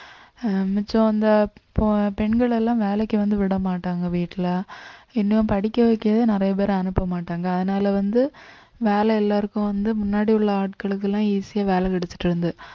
ஆஹ் மிச்சம் அந்த போ~ பெண்கள் எல்லாம் வேலைக்கு வந்து விட மாட்டாங்க வீட்டுல படிக்க வைக்கவே நிறைய பேரை அனுப்ப மாட்டாங்க அதனால வந்து வேலை எல்லாருக்கும் வந்து முன்னாடி உள்ள ஆட்களுக்கெல்லாம் easy ஆ வேலை கிடைச்சுட்டு இருந்தது